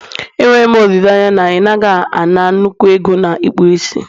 Enwere m olileanya na ị naghị ana nnukwu ego na ịkpụ isi